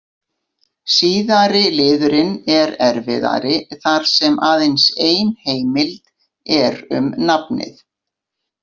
Síðari liðurinn er erfiðari þar sem aðeins ein heimild er um nafnið.